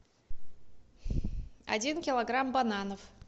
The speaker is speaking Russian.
один килограмм бананов